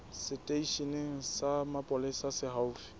seteisheneng sa mapolesa se haufi